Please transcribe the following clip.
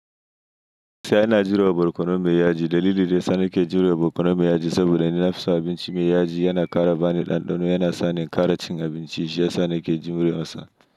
Sani yana jurewa barkono mai yaji. Dalilin da yasa yake jurewa barkono mai yaji saboda nufinsa. Abinci mai yaji yana ƙara bani ɗanɗano, yana sa ni ƙara cin abinci shiyasa nake jurewarsa.